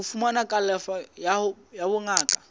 ho fumana kalafo ya bongaka